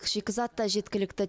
шикізат та жеткілікті